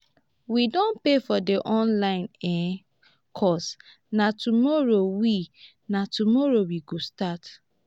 we don pay for the online um course na tomorrow we na tomorrow we go start